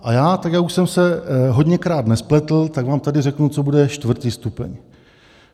A já, tak jak už jsem se hodněkrát nespletl, tak vám tady řeknu, co bude čtvrtý stupeň.